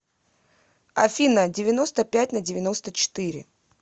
афина девяносто пять на девяносто четыре